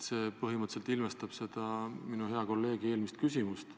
" See põhimõtteliselt ilmestab minu hea kolleegi eelmist küsimust.